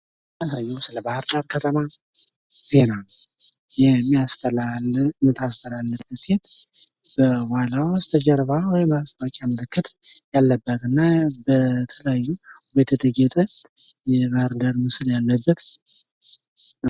ምስሉ የሚያሳየው የባህር ዳር ከተማ ዜና የምታስተላልፍ ሴት በኋላዋ የማስታወቂያ ምልክት ያለበትና በተለያዩ ነገሮች ያጌጠ የባህር ዳር ምስል ያለበት ነው።